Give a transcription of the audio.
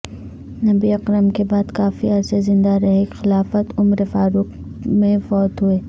نبی اکرم کے بعد کافی عرصہ زندہ رہے خلافت عمر فاروق میں فوت ہوئے